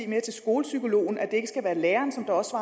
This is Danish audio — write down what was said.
med til skolepsykologens at det ikke skal være lærerne som også